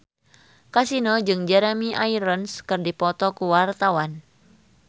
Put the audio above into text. Kasino jeung Jeremy Irons keur dipoto ku wartawan